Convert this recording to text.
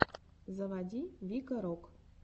заводи вика рок